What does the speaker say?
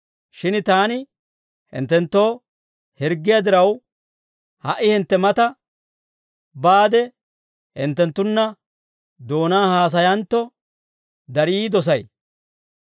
Shin taani hinttenttoo hirggiyaa diraw, ha"i hintte mata baade hinttenttunna doonaan haasayantto, darii dosay.